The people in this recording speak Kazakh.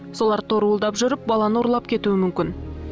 солар торуылдап жүріп баланы ұрлап кетуі мүмкін